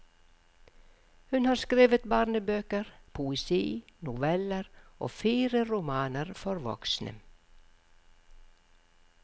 Hun har skrevet barnebøker, poesi, noveller og fire romaner for voksne.